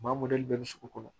Maa mɔdɛli bɛɛ bɛ sugu kɔnɔ